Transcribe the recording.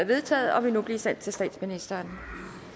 vedtaget og vil nu blive sendt til statsministeren